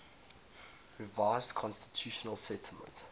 revised constitutional settlement